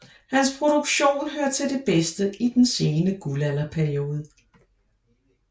Hans produktion hører til det bedste i den sene guldalderperiode